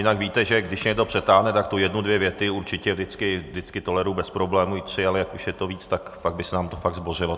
Jinak víte, že když někdo přetáhne, tak tu jednu dvě věty určitě vždycky toleruji bez problémů, i tři, ale jak už je to víc, tak pak by se nám to fakt zbořilo.